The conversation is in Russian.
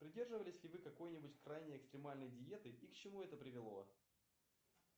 придерживались ли вы какой нибудь крайне экстремальной диеты и к чему это привело